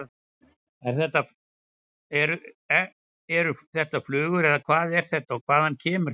Eru þetta flugur eða hvað er þetta og hvaðan kemur þetta?